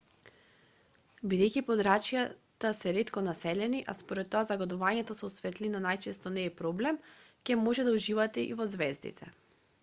бидејќи подрачјата се ретко населени а според тоа загадувањето со светлина најчесто не е проблем ќе можете да уживате и во ѕвездите